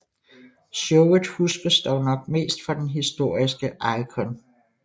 Showet huskes dog nok mest for den historiske Icon vs